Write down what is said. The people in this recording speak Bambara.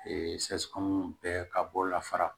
sɛ kɔnɔn bɛ ka bɔ la fara